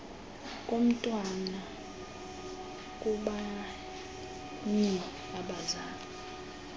komntwana kubanye abazali